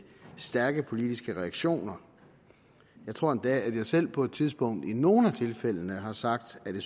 stærke politiske reaktioner jeg tror endda at jeg selv på et tidspunkt i nogle af tilfældene har sagt at jeg